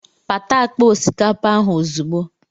Pata akpa osikapa ahụ ozugbo!